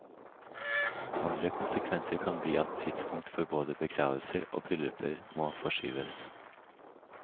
Andre konsekvenser kan bli at tidspunkt for både begravelser og brylluper må forskyves.